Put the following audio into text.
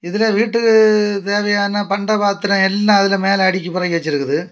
இதுல வீட்டுக்கு தேவையான பண்ட பாத்திரம் எல்லாம் அதுல மேல அடுக்கி பரக்கி வெச்சிருக்குது.